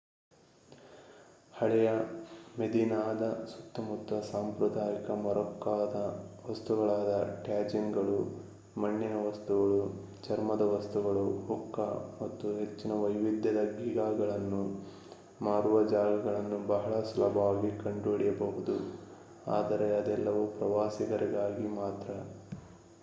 ಹಳೆಯ ಮೆದೀನಾದ ಸುತ್ತಮುತ್ತ ಸಾಂಪ್ರದಾಯಿಕ ಮೊರ್ರಾಕ್ಕೊದ ವಸ್ತುಗಳಾದ ಟ್ಯಾಜೀನ್‌ಗಳು ಮಣ್ಣಿನ ವಸ್ತುಗಳು ಚರ್ಮದ ವಸ್ತುಗಳು ಹುಕ್ಕಾ ಮತ್ತು ಹೆಚ್ಚಿನ ವೈವಿಧ್ಯದ ಗೀಗಾಗಳನ್ನು ಮಾರುವ ಜಾಗಗಳನ್ನು ಬಹಳ ಸುಲಭವಾಗಿ ಕಂಡುಹಿಡಿಯಬಹುದು ಆದರೆ ಅದೆಲ್ಲವೂ ಪ್ರವಾಸಿಗರಿಗಾಗಿ ಮಾತ್ರ